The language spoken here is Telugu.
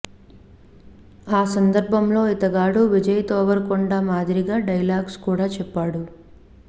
ఆ సందర్భంలో ఇతగాడు విజయ్ దేవరకొండ మారిగా డైలాగ్స్ కూడా చెప్పాడు